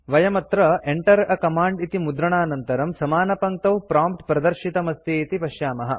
वयम् अत्र Enter a command इति मुद्रणानन्तरं समानपङ्क्तौ प्रॉम्प्ट् प्रदर्शितमस्ति इति पश्यामः